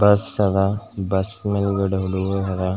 Bus ಅದ್ bus ಮೇಲಗಡೆ ಹುಡುಗುರ ಹರಾ .